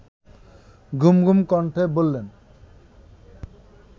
ঘুমঘুম কণ্ঠে বললেন